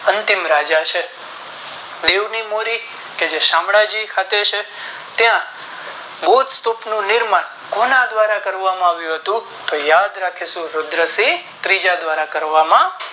અંતિમ રાજા છે દીવ ની મુળી કે જે શામળાજી ખાતે છે ત્યાં બોધ સ્તૂપ નું નિર્માણ કોના દ્વારા કરવામાં આવ્યું હતું તો યાદ રાખીશું રુદ્રસિંહ ત્રીજા દ્વારા કરવામાં